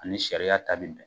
Ani sariya ta bi bɛn.